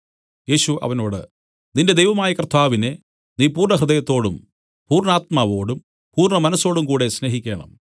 യേശു അവനോട് നിന്റെ ദൈവമായ കർത്താവിനെ നീ പൂർണ്ണഹൃദയത്തോടും പൂർണ്ണാത്മാവോടും പൂർണ്ണ മനസ്സോടുംകൂടെ സ്നേഹിക്കേണം